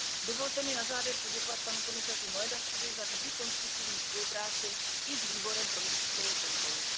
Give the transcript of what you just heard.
Dovolte mi na závěr poděkovat panu komisaři Moedasovi za vždy konstruktivní spolupráci i s Výborem pro rozpočtovou kontrolu.